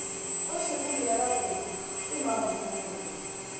kgošikgolo ya bapedi ke mampuru